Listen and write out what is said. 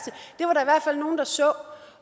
fald nogle der så